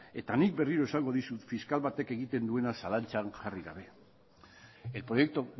eta nik berriro esango dizut fiskal batek egiten duena zalantzan jarri gabe el proyecto